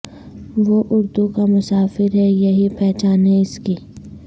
وہ اردو کا مسافر ہے یہی پہچان ہے اس کی